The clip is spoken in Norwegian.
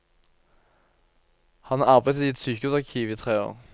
Han har arbeidet i et sykehusarkiv i tre år.